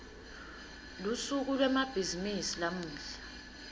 lusuku lwemabhizimisi lamuhla